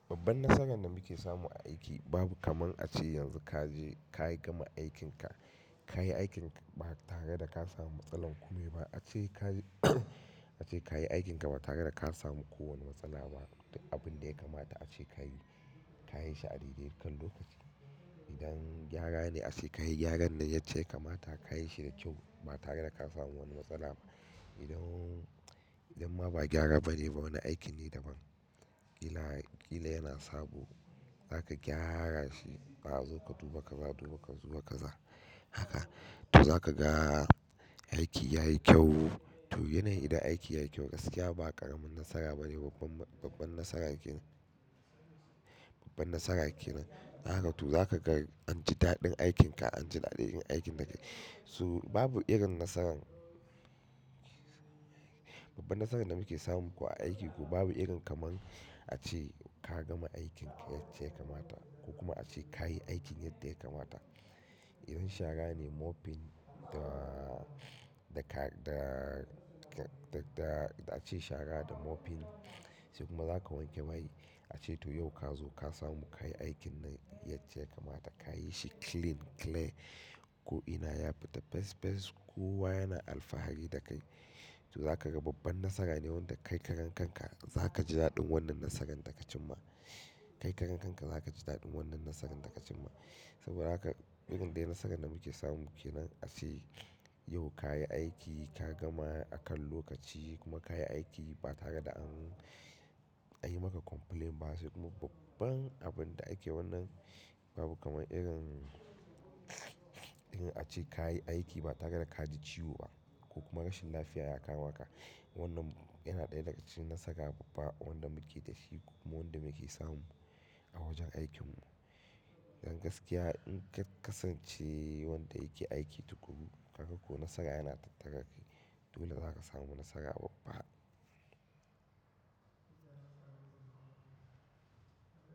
Babban nasaran da muke samu a aiki babu kaman a ce yanzu ka je ka yi gama aikinka, ka yi aikinka ba tare da ka samu matsalar kuɗi ba. A ce ka-- a ce ka yi aikinka ba tare da ka samu kowane matsala ba. Duka abun da ya kamata a ce ka yi, ka yi shi a daidai kan lokaci. Idan gyara ne a ce ka yi gyaran da yacce yakamata, ka yi shi da kyau ba tare da ka samu wani matsala ba. Idan, idan ma ba gyara ba ne ba wani aikin ne daban. Kila, kila yana sabo za ka gyara shi. A zo ka duba ka za duba ka zo ka za haka. To za ka ga aiki ya yi kyau. To yana yi idan aiki ya yi kyau gaskiya ba ƙaramin nasara ba ne, babban, babban nasara yake. Babban nasara yake nan. Dan haka to za ka ga an ji daɗin aikin ka, an ji daɗin yin aikin da kai. So babu irin nasaran babban nasaran da muke samu ko a aiki ko babu irin kaman a ce ka gama aikin yacce kamata ko kuma a ce ka yi aikin yadda ya kamata. Idan shara ne mopping da, da ka, da, da, da a ce shara da mopping sai kuma za ka wanke mai. A ce to yau ka zo ka samu ka yi aikin da yace kamata, ka yi shi clean, clear. Ko ina ya fita fes fes, kowa yana alfahari da kai. To za ka ga babban nasara ne wanda kai karen kanka za ka ji daɗin wannan nasaran da ka cim ma. Kai karen kanka za ka ji daɗin wannan nasaran da ka cim ma. Saboda haka irin dai nasaran da muke samu ke nan a ce yau ka yi aiki, ka gama akan lokaci kuma ka yi aiki ba tare da an, an yi maka complaint ba sai kuma babban abun da ake wannan babu kaman irin, irin a ce ka yi aiki ba tare da ka ji ciwo ba ko kuma rashin lafiya ya kama ka. Wannan yana ɗaya daga cikin nasara babba wanda muke da shi kuma wanda muke samu a wajen aikin mu. Dan gaskiya in ka kasance wanda yake aiki tukuru, haka ko nasara yana tattara kai. Dole za ka samu nasara babba.